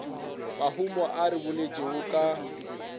mahumo a re boletšego ka